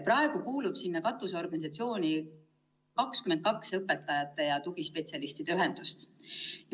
Praegu kuulub sinna katusorganisatsiooni 22 õpetajate ja tugispetsialistide ühendust.